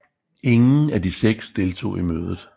Ingen af de seks deltog i mødet